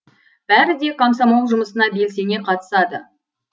бәрі де комсомол жұмысына белсене катысады